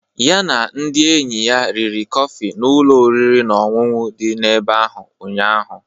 Ya na ndị enyi ya riri kọfị n'ụlọ oriri na ọṅụṅụ dị n'ebe ahụ ụnyaahụ.